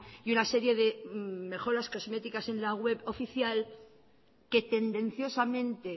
y una serie de mejoras cosméticas en la web oficial que tendenciosamente